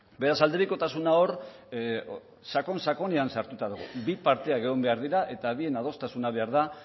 beraz aldebikotasuna hor sakon sakonean sartuta dago bi parteak egon behar dira eta bien adostasuna behar da